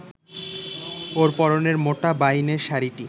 ওর পরনের মোটা বাইনের শাড়িটি